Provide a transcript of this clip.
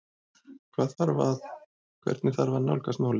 Hvað þarf að, hvernig þarf að nálgast málið?